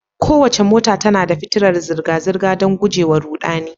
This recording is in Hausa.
Kowace mota tana da fitilar zirga-zirga, don guje wa ruɗani.